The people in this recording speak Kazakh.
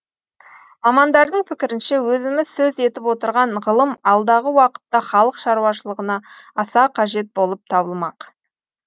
мамандардың пікірінше өзіміз сөз етіп отырған ғылым алдағы уақытта халық шаруашылығына аса қажет болып табылмақ